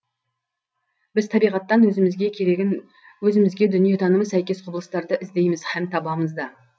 біз табиғаттан өзімізге керегін өзімізге дүниетанымы сәйкес құбылыстарды іздейміз һәм табамыз да